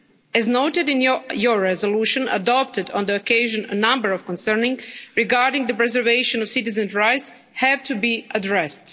As noted in your resolution adopted on the occasion, a number of concerns regarding the preservation of citizens' rights have to be addressed.